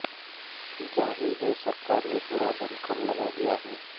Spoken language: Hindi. जाहिर है सरकार ने पूरा दमखम लगा दिया है